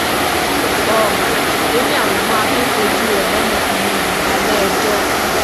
um ó ní àwọn máa tóó fojú ọdọmọkùnrin yìí balẹẹjọ